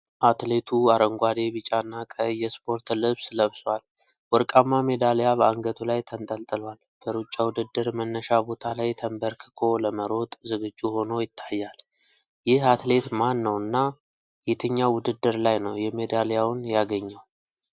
አትሌቱ አረንጓዴ፣ ቢጫና ቀይ የስፖርት ልብስ ለብሶአል። ወርቃማ ሜዳልያ በአንገቱ ላይ ተንጠልጥሏል። በሩጫ ውድድር መነሻ ቦታ ላይ ተንበርክኮ ለመሮጥ ዝግጁ ሆኖ ይታያል። ይህ አትሌት ማን ነውና የትኛው ውድድር ላይ ነው የሜዳልያውን ያገኘው?